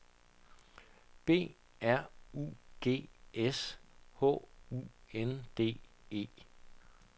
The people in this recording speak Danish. B R U G S H U N D E